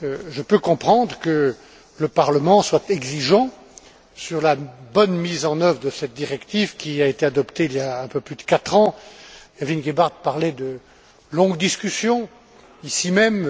Je peux comprendre que le Parlement soit exigeant sur la bonne mise en œuvre de cette directive qui a été adoptée il y a un peu plus de quatre ans. Evelyne Gebhardt parlait de longues discussions, ici même.